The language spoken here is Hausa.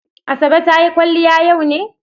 Asabe ta yi kwaliya yau ne?